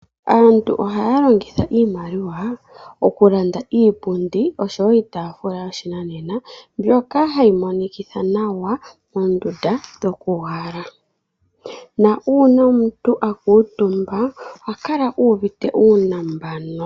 Aantu ohaya longitha iimaliwa okulanda iipundi osho wo iitaafula yoshinanena mbyoka hayi monikitha nawa moondunda dhokuuhala na uuna omuntu aakuutumba ohakala uuvite uunambano.